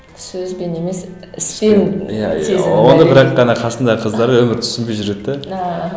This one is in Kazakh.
сөзбен емес іспен оны бірақ ана қасындағы қыздары өмірі түсінбей жүреді де ааа